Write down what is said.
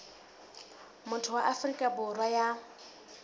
motho wa afrika borwa ya